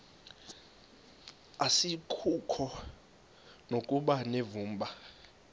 asikuko nokuba unevumba